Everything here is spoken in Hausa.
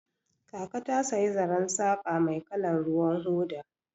Kaka ta saya zaren saqa mai kalar ruwan hoda.